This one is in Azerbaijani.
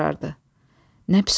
Nə pis oldu?